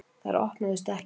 Þær opnuðust ekki.